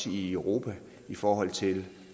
i europa i forhold til